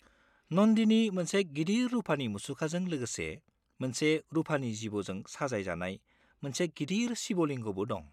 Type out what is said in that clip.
नन्दीनि मोनसे गिदिर रुफानि मुसुखाजों लोगोसे मोनसे रुफानि जिबौजों साजायजानाय मोनसे गिदिर शिबलिंगबो दं।